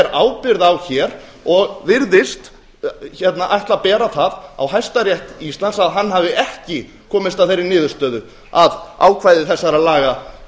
ábyrgð á hér og virðist ætla að bera það á hæstarétt íslands að hann hafi ekki komist að þeirri niðurstöðu að ákvæði þessara laga